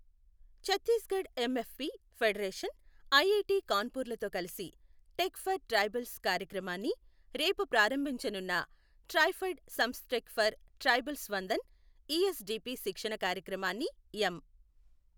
Chhattisgarh MFP federation, IIT కాన్పూర్లతో కలిసి tech for tribals కార్యక్రమాన్ని రేపు ప్రారంభించనున్న ట్రైఫెడ్ సంస్థటెక్ ఫర్ ట్రైబల్స్ వందన్ ఇఎస్డిపి శిక్షణ కార్యక్రమాన్ని ఎం.